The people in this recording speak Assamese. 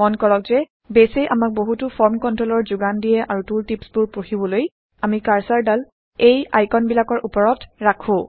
মন কৰক যে বেইছ এ আমাক বহুতো ফৰ্ম কন্ট্ৰলচৰ যোগান দিয়ে আৰু টুল টিপচবোৰ পঢ়িবলৈ আমি কাৰচাৰদাল এই আইকন বিলাকৰ উপৰত ৰাখো